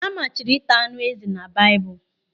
A machiri ịta ánụ́ ezi na Baịbụl.